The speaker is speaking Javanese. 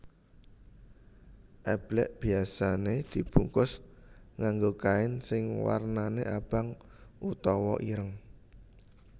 Eblek biasane dibungkus nganggo kain sing warnane abang utawa ireng